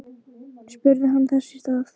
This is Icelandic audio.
spurði hann þess í stað.